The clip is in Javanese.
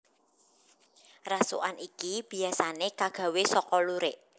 Rasukan iki biyasané kagawé saka lurik